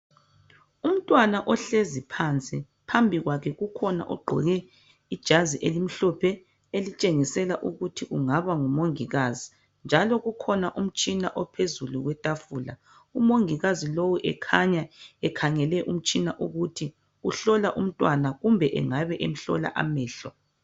Umntwana ohlezi phansi. Phambi kwakhe kukhona ogqoke ijazi elimhlophe elitshengisela ukuthi kungaba ngumongikazi njalo kukhona umtshina ophezulu kwetafula. Umongikazi lowu ekhanya ekhangele umtshina ukuthi uhlola umntwana kumbe engabe emhlola amehlo.